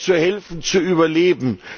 Lange zu helfen, zu überleben...